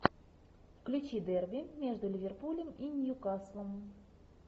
включи дерби между ливерпулем и ньюкаслом